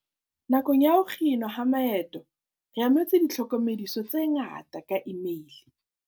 "Nakong ya ho kginwa ha maeto re amohetse ditlhoko mediso tse ngata ka imeile."